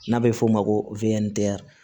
N'a bɛ f'o ma ko wɛrɛn